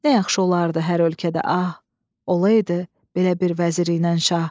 Nə yaxşı olardı hər ölkədə, ah, olaydı belə bir vəzir ilə nşah.